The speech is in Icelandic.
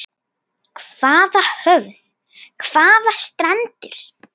Hvaða höf, hvaða strendur.